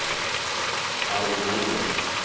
Arvid Norman